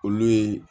Olu ye